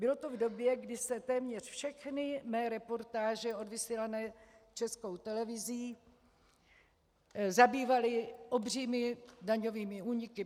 Bylo to v době, kdy se téměř všechny mé reportáže odvysílané Českou televizí zabývaly obřími daňovými úniky.